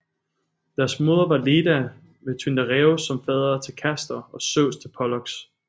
Deres moder var Leda med Tyndareos som fader til Castor og Zeus til Pollux